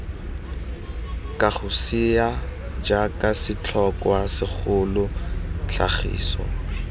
kagosea jaaka setlhokwa segolo tlhagiso